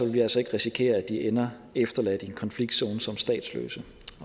vi altså ikke risikere at de ender efterladt i en konfliktzone som statsløse